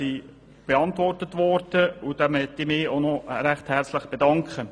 Diese wurden beantwortet, und dafür möchte ich mich ganz herzlich bedanken.